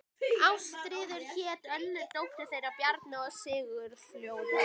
Ástríður hét önnur dóttir þeirra Bjarna og Sigurfljóðar.